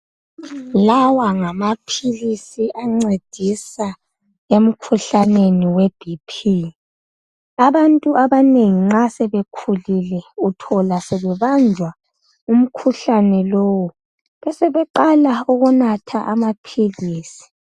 lawa ngamaphilisi ancedisa emikhuhlaneni we bp abantu abanengi nxa sebekhulile uthola sebebamba umkhuhlane lowu besebeqala ukunatha ama philisi